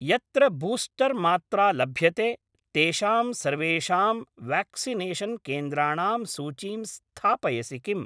यत्र बूस्टर् मात्रा लभ्यते तेषां सर्वेषां व्याक्सिनेषन् केन्द्राणां सूचीं स्थापयसि किम्?